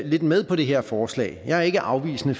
lidt med på det her forslag jeg er ikke afvisende